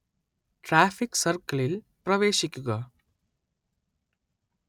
traffic സർക്കിളിൽ പ്രവേശിക്കുക